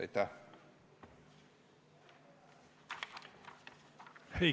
Aitäh!